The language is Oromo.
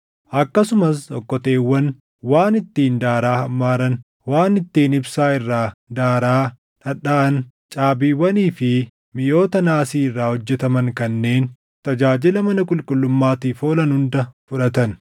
Akkasumas okkoteewwan, waan ittiin daaraa hammaaran, waan ittiin ibsaa irraa daaraa dhadhaʼan, caabiiwwanii fi miʼoota naasii irraa hojjetaman kanneen tajaajila mana qulqullummaatiif oolan hunda fudhatan.